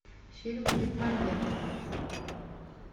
фильмы бекмамбетова